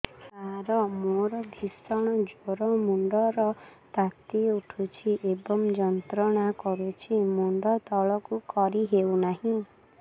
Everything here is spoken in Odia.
ସାର ମୋର ଭୀଷଣ ଜ୍ଵର ମୁଣ୍ଡ ର ତାତି ଉଠୁଛି ଏବଂ ଯନ୍ତ୍ରଣା କରୁଛି ମୁଣ୍ଡ ତଳକୁ କରି ହେଉନାହିଁ